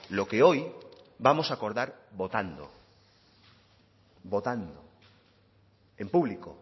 lo que hoy vamos a acordar votando votando en público